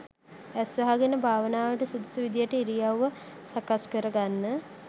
ඇස් වහගෙන භාවනාවට සුදුසු විදිහට ඉරියව්ව සකස් කරගන්න